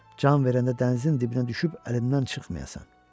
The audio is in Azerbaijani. Can verəndə dənizin dibinə düşüb əlimdən çıxmayasan.